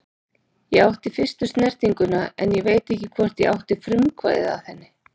Ég átti fyrstu snertinguna en ég veit ekki hvort ég átti frumkvæðið að henni.